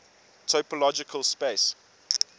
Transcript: topological space